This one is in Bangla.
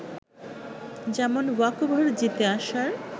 যেমন ওয়াকওভারে জিতে আসার